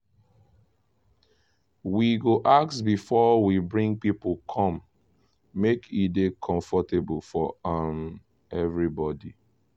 we go ask before we bring people come make e dey comfortable for um everybody.